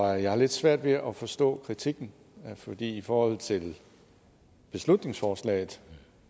jeg har lidt svært ved at forstå kritikken for i forhold til beslutningsforslaget